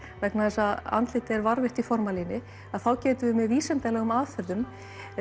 vegna þess að andlitið er varðveitt í formalíni að þá getum við með vísindalegum aðferðum